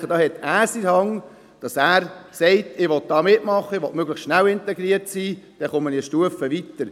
Ich denke, er hat es in der Hand, zu sagen: «Ich will mitmachen, ich will möglichst schnell integriert sein, dann komme ich eine Stufe weiter.